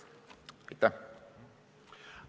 Aitäh!